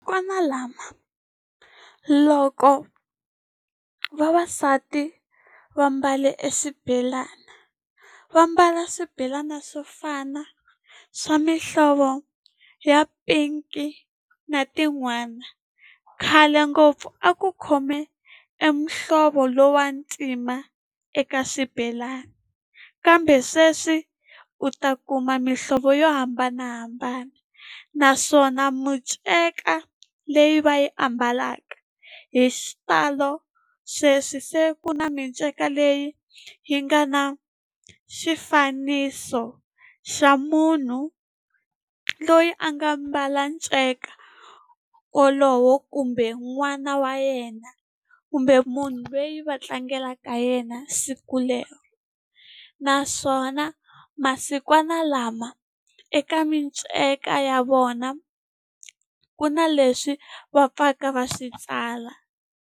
lama loko vavasati va mbale e swibelani va mbala swibelana swo fana swa mihlovo ya pink na tin'wana khale ngopfu a ku khome e muhlovo lowu wa ntima eka xibelani kambe sweswi u ta kuma mihlovo yo hambanahambana naswona miceka leyi va yi ambalaka hi xitalo sweswi se ku na miceka leyi yi nga na xifaniso xa munhu loyi a nga mbala nceka wolowo kumbe n'wana wa yena kumbe munhu loyi va tlangelaka yena siku lero naswona masikwanalama eka miceka ya vona ku na leswi va pfaka va swi tsala.